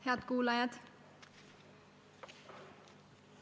Head kuulajad!